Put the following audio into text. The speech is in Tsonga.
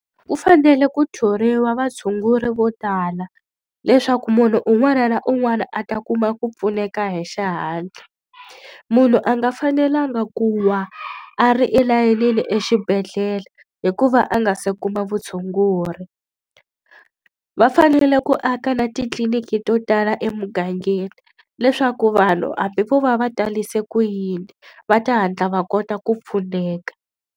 Ku fanele ku thoriwa vatshunguri vo tala, leswaku munhu un'wana na un'wana a ta kuma ku pfuneka hi xihatla. Munhu a nga fanelanga ku wa a ri elayinini exibedhlele hi ku va a nga se kuma vutshunguri. Va fanele ku aka na titliliniki to tala emugangeni, leswaku vanhu hambi vo va va tarise ku yini va ta hatla va kota ku pfuneka.